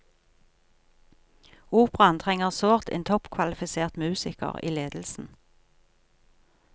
Operaen trenger sårt en toppkvalifisert musiker i ledelsen.